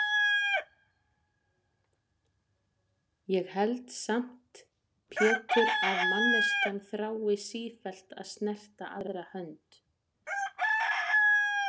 Ég held samt Pétur að manneskjan þrái sífellt að snerta aðra hönd.